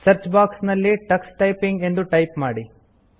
search box ನಲ್ಲಿ Tux typing ಎಂದು type ಮಾಡಿ